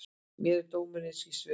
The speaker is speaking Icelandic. Mér er dómurinn einskis virði.